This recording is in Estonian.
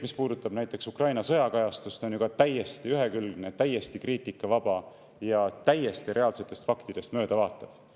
Näiteks Ukraina sõja kajastus on ju ka täiesti ühekülgne, täiesti kriitikavaba, täiesti reaalsetest faktidest mööda vaatav.